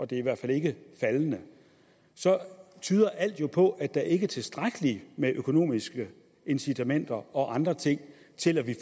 det er i hvert fald ikke faldende tyder alt jo på at der ikke er tilstrækkelige økonomiske incitamenter og andre ting til at